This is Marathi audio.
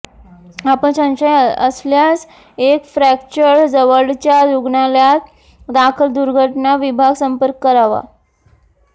आपण संशय असल्यास एक फ्रॅक्चर जवळच्या रुग्णालयात दाखल दुर्घटना विभाग संपर्क करावा